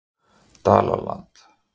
Dalalandi